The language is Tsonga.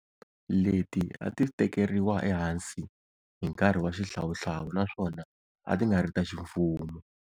Leti a ti tekeriwa ehansi hi nkarhi wa xihlawuhlawu naswona a ti nga ri ta ximfumo.